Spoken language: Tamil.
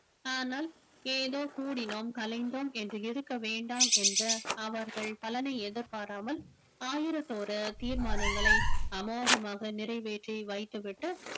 ஆனால் ஏதோ கூடினோம் கலைந்தோம் என்று இருக்க வேண்டாம் என்ற அவர்கள் பலனை எதிர்பாராமல் ஆயிரத்தொரு தீர்மானங்களை அமோகமாக நிறைவேற்றி வைத்துவிட்டு